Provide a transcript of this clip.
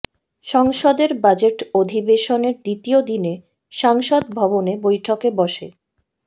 সংসদের বাজেট অধিবেশনের দ্বিতীয় দিনে সাংসদ ভবনে বৈঠকে বসে